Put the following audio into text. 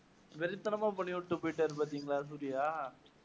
வெறித்தனமா பண்ணிக் குடுத்துட்டு போயிட்டார் பாத்தீங்களா சூர்யா